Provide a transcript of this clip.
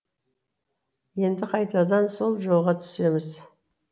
енді қайтадан сол жолға түсеміз